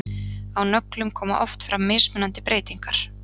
á nöglum koma oft fram mismunandi breytingar